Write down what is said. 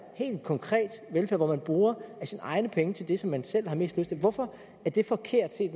helt konkret velfærd hvor man bruger af sine egne penge til det som man selv har mest lyst til hvorfor er det forkert set